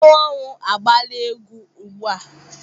Mmanwụ ọnwụ agbaala egwu ugbua?